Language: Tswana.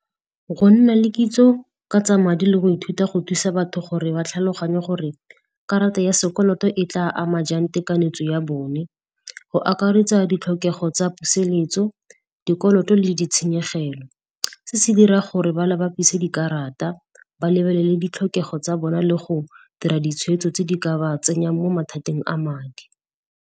Go nna le kitso ka tsa madi le go ithuta go thusa batho gore ba tlhaloganye gore karata ya sekoloto e tla ama jang tekanetse ya bone, go akaretsa ditlhokego tsa puseletso, dikoloto le ditshenyegelo. Se se dira gore ba le bapisa dikarata, ba lebelele ditlhokego tsa bona le go dira ditshwetso tse di ka ba tsenyang mo mathateng a madi.